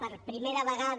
per primera vegada